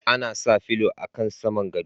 Ana sa filo a kan saman godo.